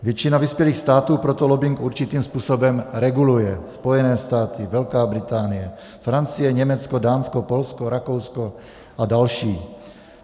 Většina vyspělých států proto lobbing určitým způsobem reguluje - Spojené státy, Velká Británie, Francie, Německo, Dánsko, Polsko, Rakousko a další.